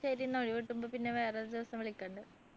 ശരി എന്ന ഒഴിവ് കിട്ടുമ്പോ പിന്നെ വേറൊരു ദിവസം വിളിക്കുന്ന്ണ്ട്